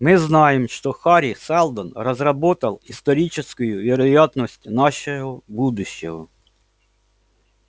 мы знаем что хари сэлдон разработал историческую вероятность нашего будущего